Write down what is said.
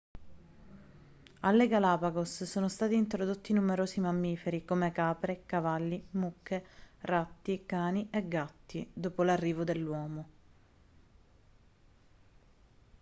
alle galapagos sono stati introdotti numerosi mammiferi come capre cavalli mucche ratti cani e gatti dopo l'arrivo dell'uomo